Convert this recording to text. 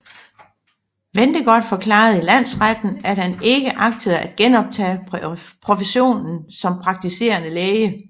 Ventegodt forklarede i landsretten at han ikke agtede at genoptage professionen som praktiserende læge